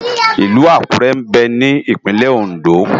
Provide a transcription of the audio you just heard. Ilù Akure mbè ni Ipinlè Óndó